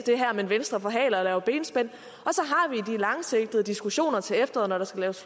men venstre forhaler det og laver benspænd og langsigtede diskussioner til efteråret når der skal laves